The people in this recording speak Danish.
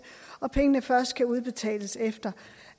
og pengene først kan udbetales efter